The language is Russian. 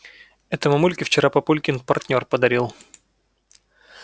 это мамульке вчера папулькин партнёр подарил